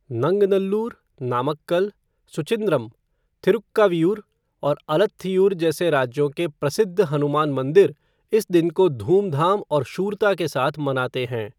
नंगनल्लूर, नामक्कल, सुचिंद्रम, थिरुक्कावीयूर और आलथ्थियूर जैसे राज्यों के प्रसिद्ध हनुमान मंदिर इस दिन को धूमधाम और शूरता के साथ मनाते हैं।